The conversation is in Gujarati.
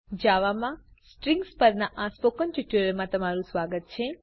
જાવા માં સ્ટ્રીંગ્સ પરના સ્પોકન ટ્યુટોરીયલમાં તમારું સ્વાગત છે